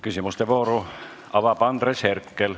Küsimuste vooru avab Andres Herkel.